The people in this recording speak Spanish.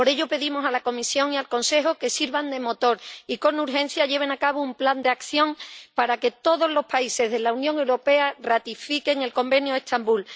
Por ello, pedimos a la Comisión y al Consejo que sirvan de motor y con urgencia lleven a cabo un plan de acción para que todos los países de la Unión Europea ratifiquen el Convenio de Estambul.